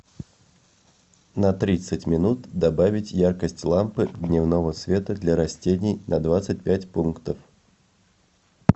на тридцать минут добавить яркость лампы дневного света для растений на двадцать пять пунктов